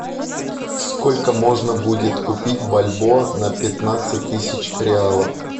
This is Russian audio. сколько можно будет купить бальбоа на пятнадцать тысяч реалов